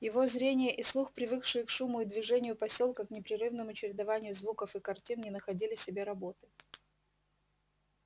его зрение и слух привыкшие к шуму и движению посёлка к непрерывному чередованию звуков и картин не находили себе работы